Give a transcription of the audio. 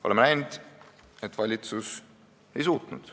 " Oleme näinud, et valitsus seda ei suutnud.